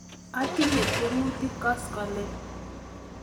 Atinye tiemutik koskoleny